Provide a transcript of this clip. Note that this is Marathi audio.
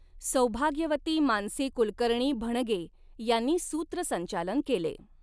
सौभाग्यवती मानसी कुलकर्णीभणगे यांनी सूत्रसंचालन केले.